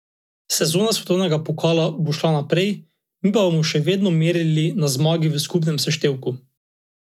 Bila je sredi dvajsetih in kljub pusti črni obleki privlačna.